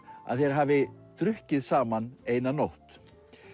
að þeir hafi drukkið saman eina nótt